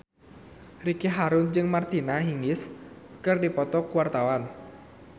Ricky Harun jeung Martina Hingis keur dipoto ku wartawan